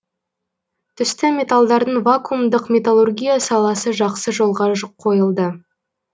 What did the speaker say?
түсті металдардың вакуумдық металлургия саласы жақсы жолға қойылды